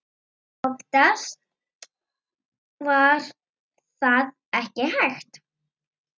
Oftast var það ekki hægt.